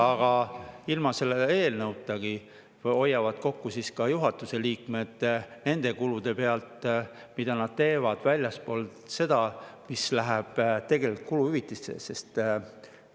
Aga ilma selle eelnõutagi hoiavad kokku ka juhatuse liikmed – nende kulude pealt, mida nad teevad väljaspool seda, mis läheb kuluhüvitistesse.